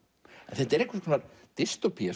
þetta er einhvers konar